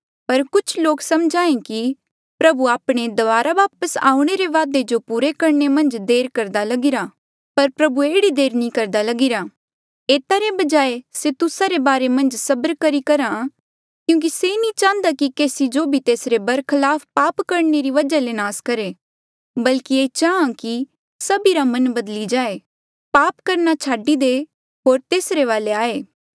पर कुछ लोक सम्झ्हा ऐें कि प्रभु आपणे दबारा वापस आऊणें के वादे जो पूरा करणे मन्झ देर करदा लगिरा पर प्रभु एह्ड़ी देर नी करदा लगीरा एता रे बजाय से तुस्सा रे बारे मन्झ सबर करी करहा क्यूंकि से नी चाहन्दा कि से केसी जो भी तेसरे बरखलाप पाप करणे री वजहा ले नास करहे बल्की ये चाहां कि सभीरा मन बदली जाये पाप करणा छाडी दे होर तेसरे वाले आये